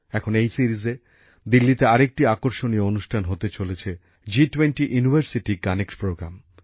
এখন এই সিরিজে দিল্লিতে আরেকটি আকর্ষণীয় অনুষ্ঠান হতে চলেছে জি20 ইউনিভারসিটি কানেক্ট প্রোগ্রাম